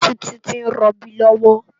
Titi n ròbí lòwò